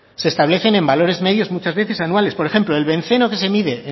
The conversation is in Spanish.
se establecen en valores medios muchas veces anuales por ejemplo el benceno que se mide